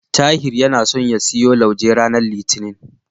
Tahir yana so ya siyo lauje ranar Litinin.